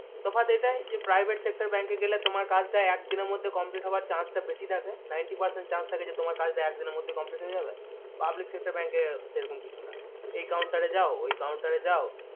তফাৎ এটাই যে private sectorbank এ গেলে তোমার কাজ টা এক দিনের মধ্যেই complete হবার chance টা বেশি থাকে ninety percent chance থাকে যে তোমার কাজ টা এক দিনের মধ্যেই complete হয়ে যাবে public sector bank এ সেরকম কিছু না এই counter রে যাও ওই counter রে যাও